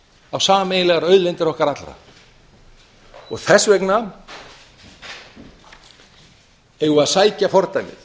á sameiginlegar auðlindir okkar allra þess vegna eigum við að sækja fordæmi